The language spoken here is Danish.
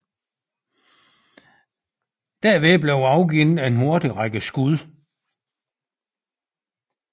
Derved afgaves en hurtig række skud